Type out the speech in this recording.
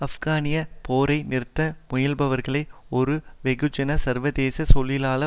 ஆப்கானிய போரை நிறுத்த முயல்பவர்கள் ஒரு வெகுஜன சர்வதேச தொழிலாள